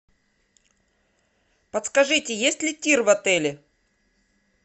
подскажите есть ли тир в отеле